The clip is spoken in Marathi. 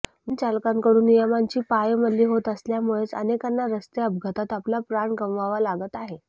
वाहन चालकांकडून नियमांची पायमल्ली होत असल्यामुळेच अनेकांना रस्ते अपघातात आपला प्राण गमवावा लागत आहे